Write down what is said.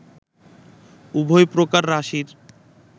উভয় প্রকার রাশির